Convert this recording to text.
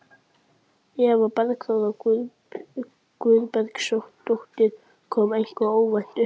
Eva Bergþóra Guðbergsdóttir: Kom eitthvað óvænt uppá?